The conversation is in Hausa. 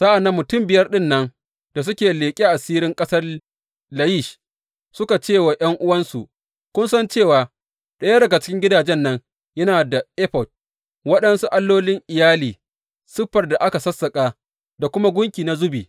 Sa’an nan mutum biyar ɗin nan da suka leƙi asirin ƙasar Layish suka ce wa ’yan’uwansu, Kun san cewa ɗaya daga cikin gidajen nan yana da efod, waɗansu allolin iyali, siffar da aka sassaƙa da kuma gunki na zubi?